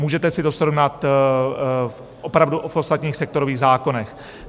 Můžete si to srovnat opravdu v ostatních sektorových zákonech.